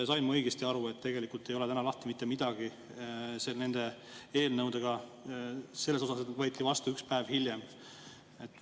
Sain ma õigesti aru, et tegelikult ei ole täna mitte midagi nende eelnõudega lahti, kuigi need võetakse vastu üks päev hiljem?